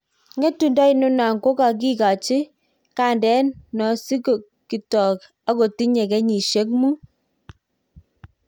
Ngetundo inano kokakikachi gandet Nosikitok akotinye kenyishek Mut